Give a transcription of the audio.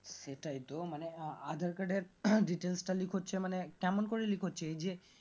সেটাই তো মানে আঃ aadhar card এর details টা লিক হচ্ছে মানে কেমন করে লিক হচ্ছে এই যে